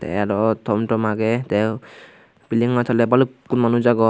tey aro tom tom age tei bildingano toley balukkun manuj agon.